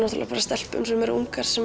stelpum sem eru ungar